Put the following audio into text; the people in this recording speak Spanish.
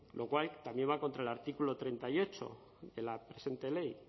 lo cual también va contra el artículo treinta y ocho de la presente ley